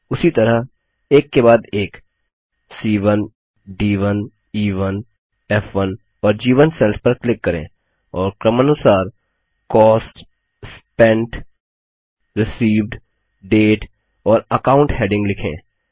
उसी तरह एक के बाद एक सी1 डी1 ई1 फ़1 और जी1 सेल्स पर क्लिक करें और क्रमानुसार कॉस्ट स्पेंट रिसीव्ड डेट और अकाउंट हैडिंग लिखें